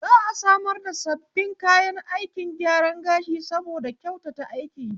Za'a samar da sabbin kayan aikin gyaran gashi saboda kyautata aiki